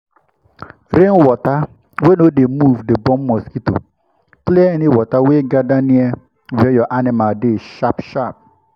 rainwater wey no dey move dey born mosquito—clear any water wey gather near where your animal dey sharp-sharp.